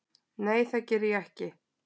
Nei það geri ég ekki.